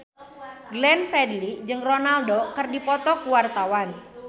Glenn Fredly jeung Ronaldo keur dipoto ku wartawan